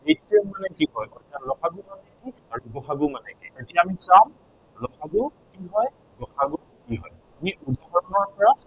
LCM মানে কি হয়, অৰ্থাৎ ল সা গু মানে কি আৰু গ সা গু মানে কি হয়। এতিয়া আমি চাম ল সা গু কি হয় আৰু গ সা গু কি হয়। আমি প্ৰথমৰ পৰা